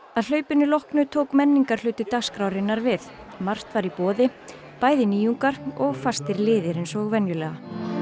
að hlaupinu loknu tók dagskrárinnar við margt var í boði bæði nýjungar og fastir liðir eins og venjulega